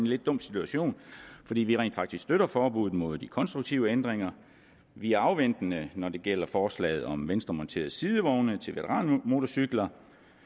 lidt dum situation fordi vi rent faktisk støtter forbuddet mod de konstruktive ændringer vi er afventende når det gælder forslaget om venstremonterede sidevogne til veteranmotorcykler